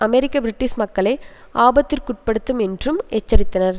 அமெரிக்க British மக்களை ஆபத்திற்குட்படுத்தும் என்றும் எச்சரித்தனர்